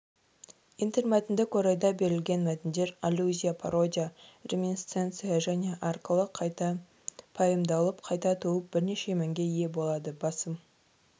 интермәтіндік орайда берілген мәтіндер аллюзия пародия реминисценция және арқылы қайта пайымдалып қайта туып бірнеше мәнге ие болады басым